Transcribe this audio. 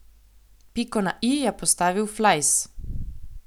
Piko na i je postavil Flajs.